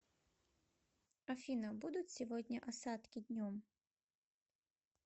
афина будут сегодня осадки днем